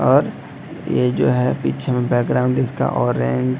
और ये जो है पीछे में बैकग्राउंड इसका ऑरेंज --